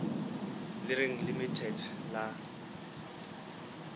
le reng limited le tla